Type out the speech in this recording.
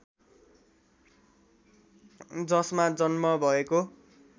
जसमा जन्म भएको